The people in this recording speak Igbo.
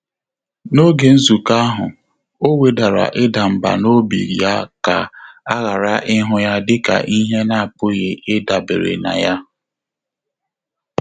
N’ógè nzùkọ́ áhụ́, ọ́ wèdàrà ị́dà mbà n’óbí yá kà á ghàrà ị́hụ́ yá dị́kà ìhè á nà-ápụ́ghị́ ị́dàbèré nà yá.